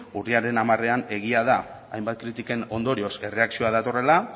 urriaren hamarean egia da hainbat kritiken ondorioz erreakzioa datorrela